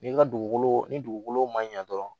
Ni ka dugukolo ni dugukolo ma ɲa dɔrɔn